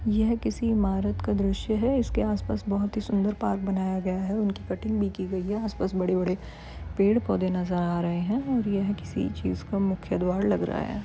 यह किसी इमारत का द्रश्य है इसके आसपास बहोत ही सुंदर पार्क बनाया गया है और उनकी कटिंग भी गई है आसपास बड़े-बड़े पेड़-पौधे नज़र आ रहे है और यह किसी चीज़ का मुख्य द्वार लग रहा है।